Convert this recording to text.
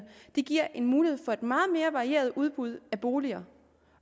det giver mulighed for et meget mere varieret udbud af boliger